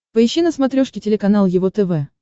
поищи на смотрешке телеканал его тв